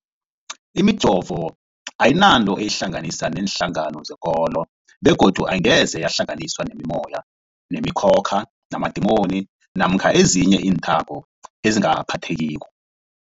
Imijovo ayinanto eyihlanganisa neenhlangano zekolo begodu angeze yahlanganiswa nemimoya, nemi khokha, namadimoni namkha ezinye iinthako ezingaphathekiko.